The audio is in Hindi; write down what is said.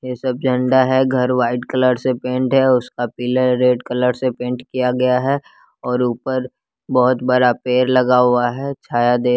ये सब झंडा है घर व्हाइट कलर से पेंट है और उसका पिलर रेड कलर से पेंट किया गया है और ऊपर बहोत बड़ा पेड़ लगा हुआ है छाया दे--